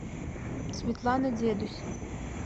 светлана дедусь